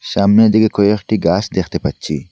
সামনের দিকে কয়েকটি গাস দেখতে পাচ্চি।